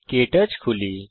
কে torch খুলি